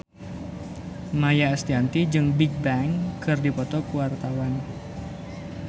Maia Estianty jeung Bigbang keur dipoto ku wartawan